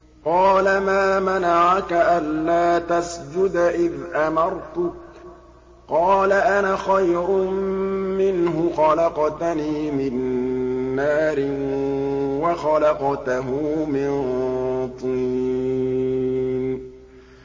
قَالَ مَا مَنَعَكَ أَلَّا تَسْجُدَ إِذْ أَمَرْتُكَ ۖ قَالَ أَنَا خَيْرٌ مِّنْهُ خَلَقْتَنِي مِن نَّارٍ وَخَلَقْتَهُ مِن طِينٍ